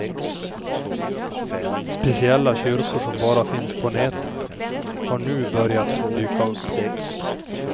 Speciella kyrkor som bara finns på nätet har nu börjat dyka upp.